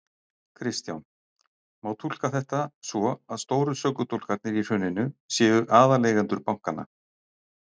Kristján: Má túlka þetta svo að stóru sökudólgarnir í hruninu séu aðaleigendur bankanna?